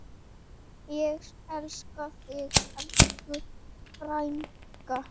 Ég elska þig, elsku frænka.